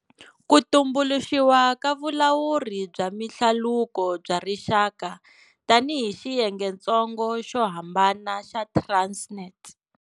Ku tumbuluxiwa ka Vulawuri bya Mihlaluko bya Rixaka tanihi xiyengentsongo xo hambana xa Transnet.